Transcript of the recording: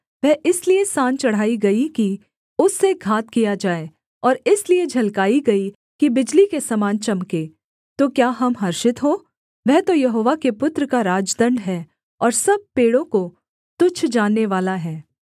वह इसलिए सान चढ़ाई गई कि उससे घात किया जाए और इसलिए झलकाई गई कि बिजली के समान चमके तो क्या हम हर्षित हो वह तो यहोवा के पुत्र का राजदण्ड है और सब पेड़ों को तुच्छ जाननेवाला है